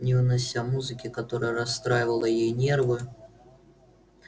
не вынося музыки которая расстраивала ей нервы